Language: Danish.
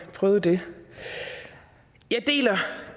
prøvet det jeg deler